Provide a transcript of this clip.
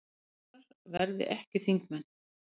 Ráðherrar verði ekki þingmenn